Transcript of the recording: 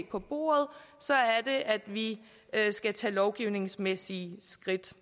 på bordet så er det at vi skal tage lovgivningsmæssige skridt